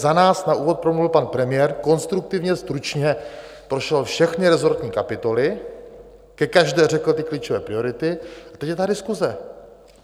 Za nás na úvod promluvil pan premiér, konstruktivně, stručně prošel všechny resortní kapitoly, ke každé řekl ty klíčové priority, a teď je ta diskuse.